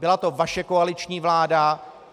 Byla to vaše koaliční vláda!